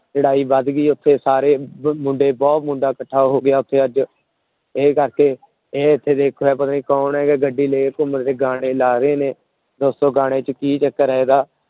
ਲੜਾਈ ਵੱਧ ਗਈ ਉੱਥੇ ਸਾਰੇ ਮੁੰਡੇ ਬਹੁਤ ਮੁੰਡਾ ਇਕੱਠਾ ਹੋ ਗਿਆ ਉੱਥੇ ਅੱਜ, ਇਹ ਕਰਕੇ ਇਹ ਉੱਥੇ ਦੇਖਿਆ ਪਤਾ ਨੀ ਕੌਣ ਹੈ ਕਿ ਗੱਡੀ ਲੈ ਕੇ ਗਾਣੇ ਲਾ ਰਹੇ ਨੇ ਦੱਸੋ ਗਾਣੇ ਚ ਕੀ ਚੱਕਰ ਹੈ ਇਹਦਾ।